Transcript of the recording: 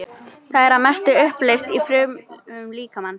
Það er að mestu uppleyst í frumum líkamans.